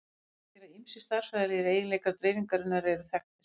Það merkir að ýmsir stærðfræðilegir eiginleikar dreifingarinnar eru þekktir.